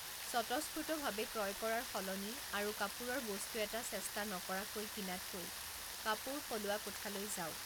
স্বতঃস্ফূৰ্তভাৱে ক্ৰয় কৰাৰ সলনি আৰু কাপোৰৰ বস্তু এটা চেষ্টা নকৰাকৈ কিনাতকৈ কাপোৰ সলোৱা কোঠালৈ যাওক।